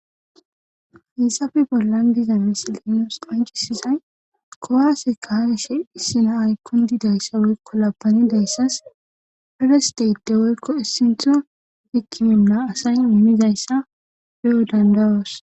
Hayssappe bollan diza misile qoncisizay kuwaase kaa'ishe issi naayi kundida issa woykko laabanida issas ferest aydi woykko essinthodi hikimina asay immiza issa be'o dandayoos.